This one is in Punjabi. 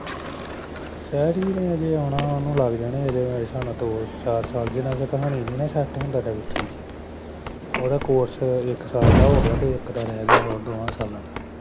ਸ਼ੈਰੀ ਨੇ ਅਜੇ ਆਉਣਾ ਮਨੁ ਲੱਗਦਾ ਓਹਨੂ ਲੱਗ ਜਾਣੇ ਅਜੇ ਮੇਰੇ ਹਿਸਾਬ ਨਾਲ ਦੋ ਚਾਰ ਸਾਲ ਜਿਨ ਚਿਰ ਕਹਾਣੀ ਨੀ ਨਾ ਸਤ ਹੁੰਦ ਓਹਦਾ ਕੋਰਸ ਅਜੇ ਇੱਕ ਸਾਲ ਦਾ ਹੋ ਗਿਆ ਤੇ ਇੱਕ ਸਾਲ ਰੇ ਗਿਆ ਹੋਰਾਂ ਦੋਹਾਂ ਸਾਲਾਂ ਦਾ